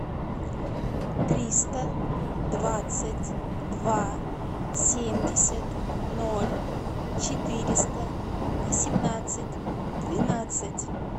триста двадцать два семьдесят ноль четыреста восемнадцать двенадцать